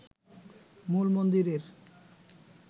মূল মন্দিরের